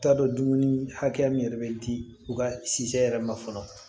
I t'a dɔn dumuni hakɛya min yɛrɛ bɛ di u ka yɛrɛ ma fɔlɔ